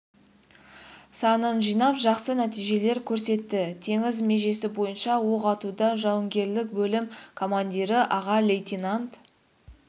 санын жинап жақсы нәтижелер көрсетті теңіз межесі бойынша оқ атуда жауынгерлік бөлім командирі аға лейтенант